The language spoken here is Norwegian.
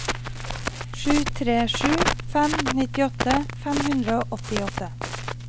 sju tre sju fem nittiåtte fem hundre og åttiåtte